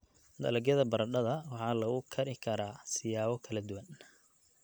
Dalagyada baradhada waxaa lagu kari karaa siyaabo kala duwan.